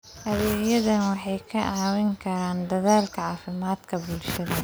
Adeegyadani waxay kaa caawin karaan dadaallada caafimaadka bulshada.